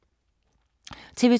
TV 2